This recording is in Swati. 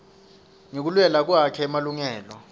sati ngekulwela kwakhe emalungelo